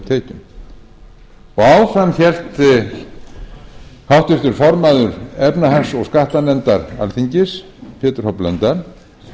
tekjum áfram hélt háttvirtur formaður efnahags og skattanefndar alþingis pétur h blöndal með